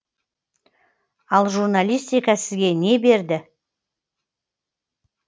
ал журналистика сізге не берді